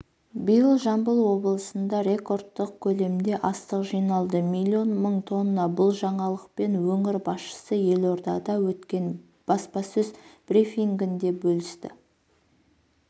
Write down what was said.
биыл жамбыл облысында рекордтық көлемде астық жиналды миллион мың тонна бұл жаңалықпен өңір басшысы елордада өткен баспасөз брифингінде бөлісті